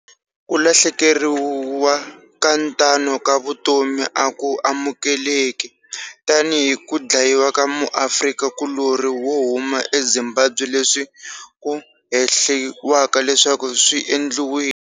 Ku lahlekeriwa ka tano ka vutomi a ku amukeleki, tanihi ku dlayiwa ka muAfrika kulorhi wo huma eZimbabwe leswi ku hehliwaka leswaku swi endliwile